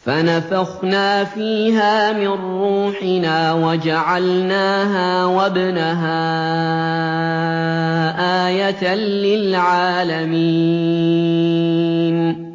فَنَفَخْنَا فِيهَا مِن رُّوحِنَا وَجَعَلْنَاهَا وَابْنَهَا آيَةً لِّلْعَالَمِينَ